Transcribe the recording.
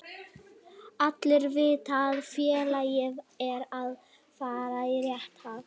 Allir vita að félagið er að fara í rétta átt.